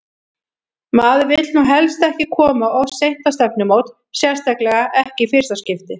Maður vill nú helst ekki koma of seint á stefnumót, sérstaklega ekki í fyrsta skipti!